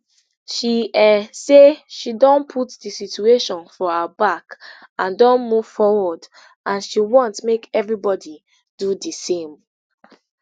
she um say she don put di situation for her back and don move forward and she want make everybody do di same